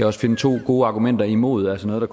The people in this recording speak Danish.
også finde to gode argumenter imod altså noget